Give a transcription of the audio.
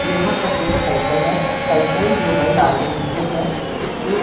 यहां पर एक साइकिल है साइकिल जो है लाल रंग की है इसके--